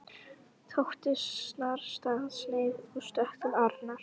Tóti snarstansaði og stökk til Arnar.